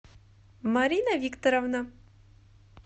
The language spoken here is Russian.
марина викторовна